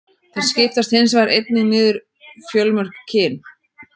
Þeir skiptast hins vegar einnig niður fjölmörg kyn.